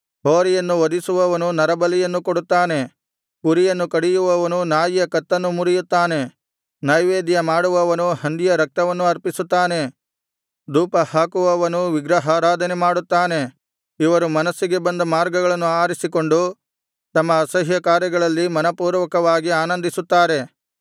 ಹೋರಿಯನ್ನು ವಧಿಸುವವನು ನರಬಲಿಯನ್ನು ಕೊಡುತ್ತಾನೆ ಕುರಿಯನ್ನು ಕಡಿಯುವವನು ನಾಯಿಯ ಕತ್ತನ್ನು ಮುರಿಯುತ್ತಾನೆ ನೈವೇದ್ಯಮಾಡುವವನು ಹಂದಿಯ ರಕ್ತವನ್ನು ಅರ್ಪಿಸುತ್ತಾನೆ ಧೂಪಹಾಕುವವನು ವಿಗ್ರಹಾರಾಧನೆ ಮಾಡುತ್ತಾನೆ ಇವರು ಮನಸ್ಸಿಗೆ ಬಂದ ಮಾರ್ಗಗಳನ್ನು ಆರಿಸಿಕೊಂಡು ತಮ್ಮ ಅಸಹ್ಯಕಾರ್ಯಗಳಲ್ಲಿ ಮನಃಪೂರ್ವಕವಾಗಿ ಆನಂದಿಸುತ್ತಾರೆ